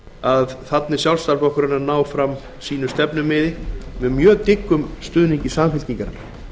að þarna er sjálfstæðisflokkurinn að ná fram sínu stefnumiði með mjög dyggum stuðningi samfylkingarinnar